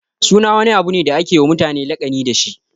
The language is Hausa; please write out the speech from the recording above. Suna wani abu ne da ake wa mutane laƙani dashi.